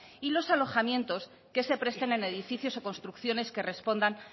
y los alojamientos que se presten en edificios o construcciones que respondan